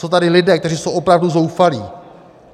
Jsou tady lidé, kteří jsou opravdu zoufalí.